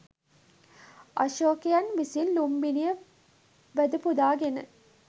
අශෝකයන් විසින් ලුම්බිණිය වැඳපුදාගෙන